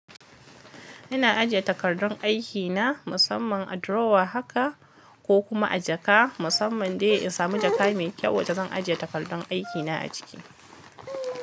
Ina ajiye takardun aikina musamman a drawer haka ko kuma a jaka musamman dai in samu jaka mai kyau wacce zan ajiye takardun aikina a ciki.